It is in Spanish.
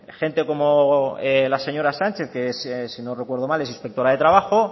gente como la señora sánchez que si no recuerdo mal es inspectora de trabajo